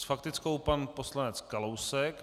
S faktickou pan poslanec Kalousek.